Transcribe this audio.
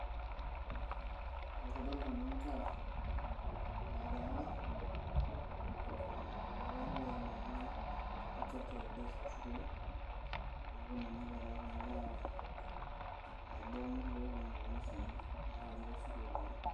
Ee kadolta naa nkera nagira arany, ee ore peetai naa kuna cs cultural days cs te sukul, neaku ina naa pegira kuna kera arany nabo ekuna olomgi oshi naranyi tosukuluni.